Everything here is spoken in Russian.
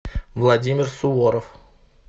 владимир суворов